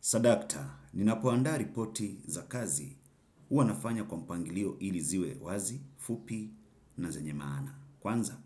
Sadakta, ninapoanda ripoti za kazi uwa nafanya kwa mpangilio ili ziwe wazi, fupi na zenye maana. Kwanza,